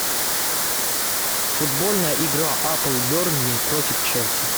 футбольная игра апл бернли против челси